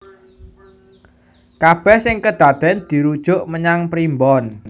Kabèh sing kedadèn dirujuk menyang primbon